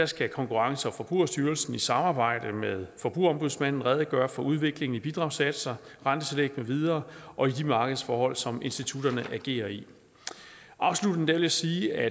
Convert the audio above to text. skal konkurrence og forbrugerstyrelsen i samarbejde med forbrugerombudsmanden redegøre for udviklingen i bidragssatser rentetillæg med videre og i de markedsforhold som institutterne agerer i afsluttende vil jeg sige at